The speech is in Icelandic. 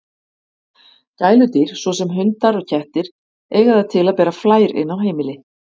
Gæludýr, svo sem hundar og kettir, eiga það til að bera flær inn á heimili.